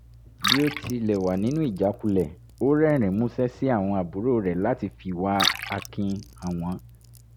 bí ó tilẹ̀ wà nínú ìjákulẹ̀ ó rẹ́rìn-ín músẹ́ sí àwọn àbúrò rẹ̀ láti fìwà akin hàn wọ́n